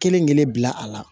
Kelen kelen bila a la